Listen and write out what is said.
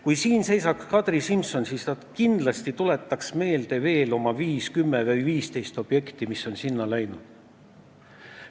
Kui siin seisaks Kadri Simson, siis ta kindlasti tuletaks meelde veel oma viis, kümme või 15 objekti, millele on sinna raha läinud.